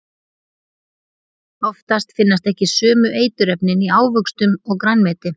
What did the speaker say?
Oftast finnast ekki sömu eiturefnin í ávöxtum og grænmeti.